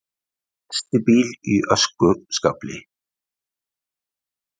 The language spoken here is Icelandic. Festi bíl í öskuskafli